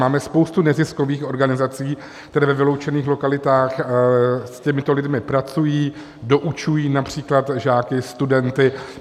Máme spoustu neziskových organizací, které ve vyloučených lokalitách s těmito lidmi pracují, doučují například žáky, studenty.